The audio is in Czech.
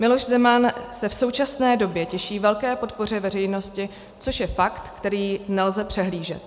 Miloš Zeman se v současné době těší velké podpoře veřejnosti, což je fakt, který nelze přehlížet.